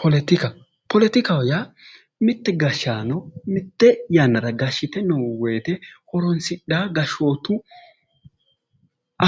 Poletika poletikaho yaa mitte gashshaano mitte yannara gashshite noo woyiite horonsidhawo gashshootu